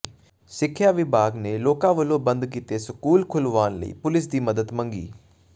ਸਿੱਖਿਆ ਵਿਭਾਗ ਨੇ ਲੋਕਾਂ ਵਲੋਂ ਬੰਦ ਕੀਤੇ ਸਕੂਲ ਖੁਲਵਾਉਣ ਲਈ ਪੁਲਿਸ ਦੀ ਮਦਦ ਮੰਗੀ